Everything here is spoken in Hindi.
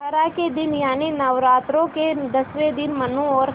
दशहरा के दिन यानि नौरात्रों के दसवें दिन मनु और